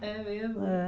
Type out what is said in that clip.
É mesmo? É